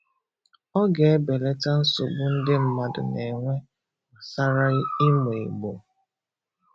Ọ ga-ebelata nsogbu ndị mmadụ na-enwe gbasara ịmụ Igbo